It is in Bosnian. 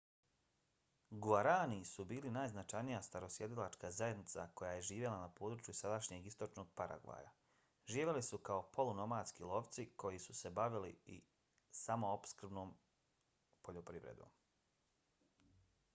guaraní su bila najznačajnija starosjedilačka zajednica koja je živjela na području sadašnjeg istočnog paragvaja. živjeli su kao polunomadski lovci koji su se bavili i samoopskrbnom poljoprivredom